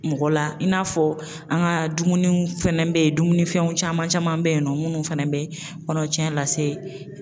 Mɔgɔ la in n'a fɔ an ka dumuniw fɛnɛ bɛ yen dumunifɛnw caman caman bɛ yen nɔ minnu fana bɛ kɔnɔtiɲɛ lase